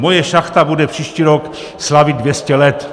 Moje šachta bude příští rok slavit 200 let.